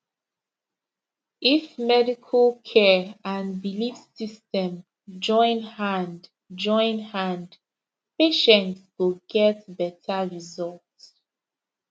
if medical care and belief system join hand join hand patient go get better result